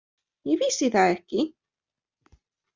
Ég vissi það ekki.